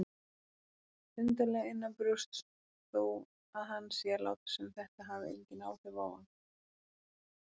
Undarlega innanbrjósts þó að hann sé að láta sem þetta hafi engin áhrif á hann.